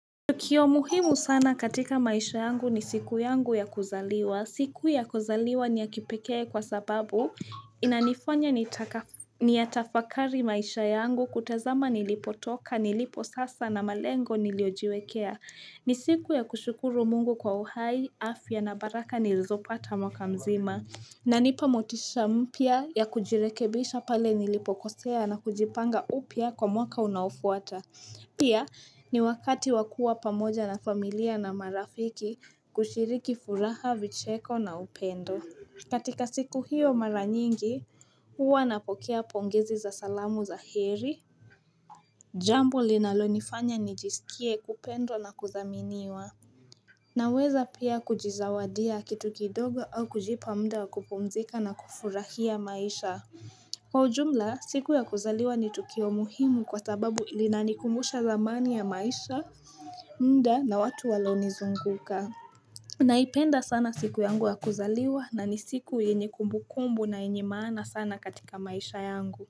Tukio muhimu sana katika maisha yangu ni siku yangu ya kuzaliwa. Siku ya kuzaliwa ni ya kipekee kwa sababu, inanifanya nitaka niyatafakari maisha yangu, kutazama nilipo toka, nilipo sasa na malengo niliojiwekea. Ni siku ya kushukuru Mungu kwa uhai, afya na baraka nilizopata mwaka mzima. Inanipa motisha mpya ya kujirekebisha pale nilipokosea na kujipanga upya kwa mwaka unaofuata. Pia, ni wakati wa kuwa pamoja na familia na marafiki kushiriki furaha, vicheko na upendo. Katika siku hiyo mara nyingi, huwa napokea pongezi za salamu za kheri. Jambo linalonifanya nijisikie kupendwa na kudhaminiwa. Naweza pia, kujizawadia kitu kidogo au kujipa muda wa kupumuzika na kufurahia maisha. Kwa ujumla, siku ya kuzaliwa ni tukio muhimu kwa sababu linanikumbusha zamani ya maisha, muda na watu walionizunguka. Naipenda sana siku yangu ya kuzaliwa na ni siku yenye kumbukumbu na yenye maana sana katika maisha yangu.